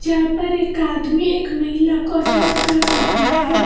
यहां पर एक आदमी एक महिला को अटेंड कर रहा है।